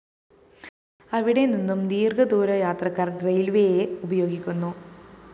അവിടെനിന്നും ദീര്‍ഘദൂരയാത്രക്കാര്‍ റെയില്‍വേയെ ഉപയോഗിക്കുന്നു